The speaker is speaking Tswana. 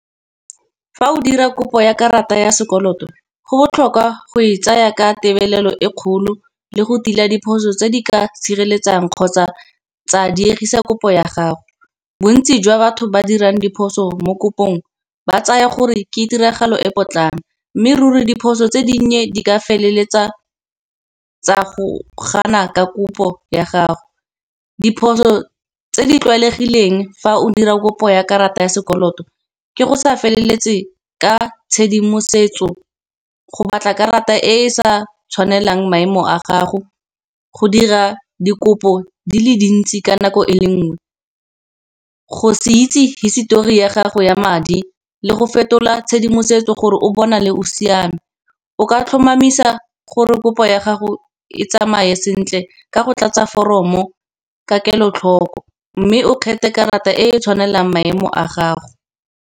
fa o dira kopo ya karata ya sekoloto go botlhokwa go e tsaya ka tebelelo e kgolo, le go tila diphoso tse di ka sireletsang kgotsa tsa diegisa kopo ya gago. Bontsi jwa batho ba dirang diphoso mokopong ba tsaya gore ke tiragalo e potlana, mme ruri diphoso tse dinnye di ka feleletsa tsa go gana ka kopo ya gago. Diphoso tse di tlwaelegileng fa o dira kopo ya karata ya sekoloto, ke go sa feleletse ka tshedimosetso go batla karata e e sa tshwanelang maemo a gago, go dira dikopo di le dintsi ka nako e le nngwe. Go se itse hisetori ya gago ya madi le go fetola tshedimosetso gore o bonale o siame. O ka tlhomamisa gore kopo ya gago e tsamaye sentle, ka go tlatsa foromo ka kelotlhoko, mme o kgethe karata e tshwanelang maemo a gago.